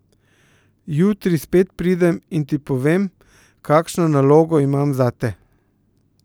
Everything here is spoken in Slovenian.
Jutri spet pridem in ti povem, kakšno nalogo imam zate.